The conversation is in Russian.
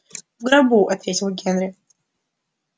в гробу ответил генри